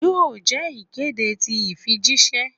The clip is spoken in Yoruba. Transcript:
Yoo jẹ ikede ti ifijiṣẹ?